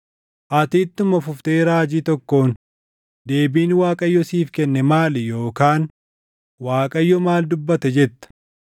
Ati ittuma fuftee raajii tokkoon, ‘Deebiin Waaqayyo siif kenne maali?’ Yookaan ‘ Waaqayyo maal dubbate?’ jetta.